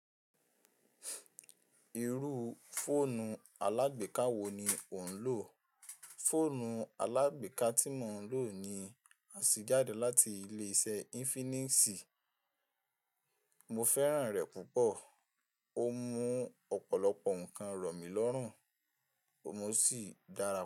Irú fóònù alágbèká wo ni ó ń lò? Fóònù alágbèká tí mò ń lò ni á sì jáde láti ilé iṣẹ́ Infinix. Mo fẹ́ràn rẹ̀ púpọ̀. Ó mú ọ̀pọ̀lọpọ̀ ǹkan rọ̀ mí lọ́rùn. Ó mú ṣì dára púpọ̀